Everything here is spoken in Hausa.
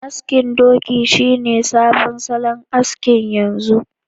Askin doki shine sabon salon aski yanzu